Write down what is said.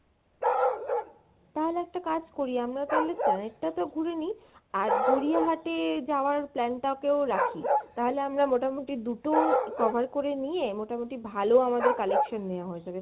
তাহলে একটা কাজ করি, আমরা তাইলে আহ একটা তো ঘুড়ে নি আর গড়িয়া হাটে যাওয়ার plan টা কেউ রাখি, তাহলে আমরা মোটামুটি দুটো cover করে নিয়ে মোটামুটি ভালো আমাদের collection নেওয়া হয়ে যাবে